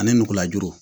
Ani nugulajuru